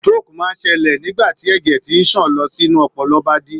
Stroke máa ń ṣẹlẹ̀ nígbà tí ẹ̀jẹ̀ tí ń sàn lọ sínú ọpọlọ bá dí.